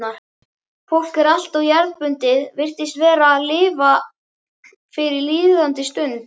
fólk er alltof jarðbundið, virðist aðallega lifa fyrir líðandi stund.